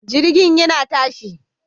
Jirgin yana tashi